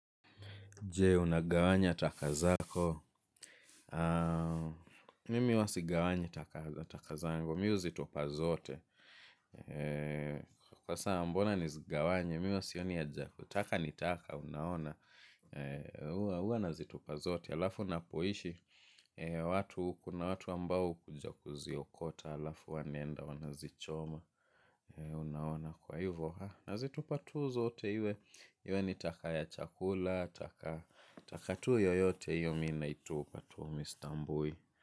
Je, unagawanya taka zako. Mimi huwa sigawanyi taka zangu. Mimi huzitupa zote. Kwa saa mbona nizigawanye. Mimi huwa sioni haja, taka ni taka unaona huwa nazitupa zote. Alafu ninapoishi. Watu kuna watu ambao hukuja kuziokota. Alafu wanaenda wanazichoma. Unaona kwa hivyo. Nazitupa tu zote. Iwe ni taka ya chakula. Taka tu yoyote hiyo mimi naitupa mimi sitambui.